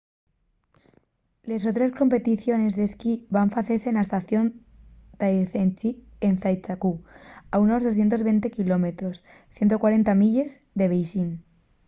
les otres competiciones d'esquí van facese na estación de taizicheng en zhangjiakou a unos 220 km 140 milles de beixín